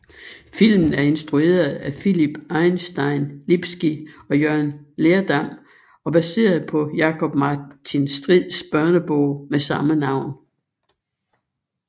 Filmen er instrueret af Philip Einstein Lipski og Jørgen Lerdam og baseret på Jakob Martin Strids børnebog med samme navn